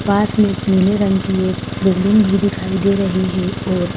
पास में पीले रंग की एक बिल्डिंग भी दिखाई दे रही हैं और--